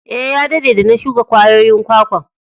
Eh, ya dadde de na shuka kwayoyin kwakwan.